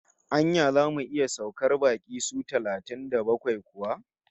Anya zamu iya saukar baƙi su talatin da bakwai kuwa?